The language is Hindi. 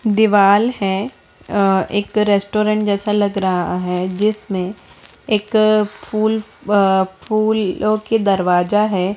दीवाल है अ एक रेस्टोरेंट जैसा लग रहा है जिसमें एक फूल अ फूलों की दरवाजा है।